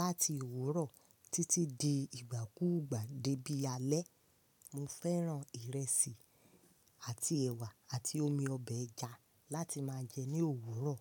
láti òwúrọ̀ títí di ìgbà kúùgbà dé bí alẹ́. Mo fẹ́ràn ìrẹsì àti ẹ̀wà àti omi ọbẹ̀ ẹja láti máa jẹ ní òwúrọ̀.